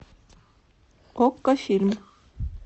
окко фильм